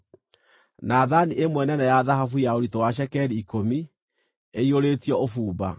na thaani ĩmwe nene ya thahabu ya ũritũ wa cekeri ikũmi, ĩiyũrĩtio ũbumba;